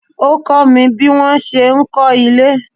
Ó kọ́ mi bí wọ́n ṣe ń kọ́ ilé.